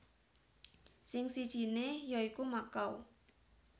Sing sijiné ya iku Makau